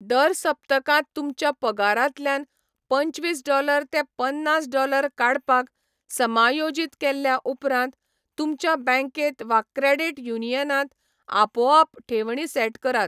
दर सप्तकांत तुमच्या पगारांतल्यान पंचवीस डॉलर ते पन्नास डॉलर काडपाक समायोजीत केल्या उपरांत, तुमच्या बँकेंत वा क्रेडीट युनियनांत आपोआप ठेवणी सेट करात.